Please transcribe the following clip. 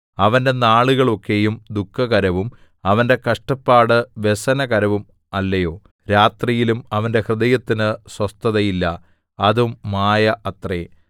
അവന്റെ നാളുകൾ ഒക്കെയും ദുഃഖകരവും അവന്റെ കഷ്ടപ്പാട് വ്യസനകരവും അല്ലയോ രാത്രിയിലും അവന്റെ ഹൃദയത്തിന് സ്വസ്ഥതയില്ല അതും മായ അത്രേ